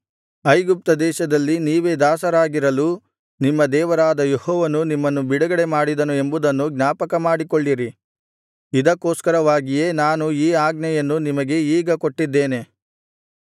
ಐಗುಪ್ತದೇಶದಲ್ಲಿ ನೀವೇ ದಾಸರಾಗಿರಲು ನಿಮ್ಮ ದೇವರಾದ ಯೆಹೋವನು ನಿಮ್ಮನ್ನು ಬಿಡುಗಡೆಮಾಡಿದನು ಎಂಬುದನ್ನು ಜ್ಞಾಪಕಮಾಡಿಕೊಳ್ಳಿರಿ ಇದಕ್ಕೋಸ್ಕರವಾಗಿಯೇ ನಾನು ಈ ಆಜ್ಞೆಯನ್ನು ನಿಮಗೆ ಈಗ ಕೊಟ್ಟಿದ್ದೇನೆ